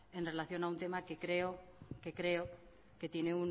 en relación a un tema que creo que tiene